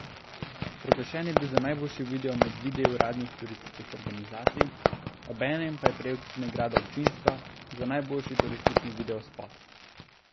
Proglašen je bil za najboljši video med videi uradnih turističnih organizacij, obenem pa je prejel tudi nagrado občinstva za najboljši turistični videospot.